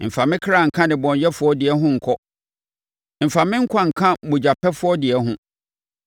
Mfa me kra nka nnebɔneyɛfoɔ deɛ ho nkɔ. Mfa me nkwa nka mogyapɛfoɔ deɛ ho,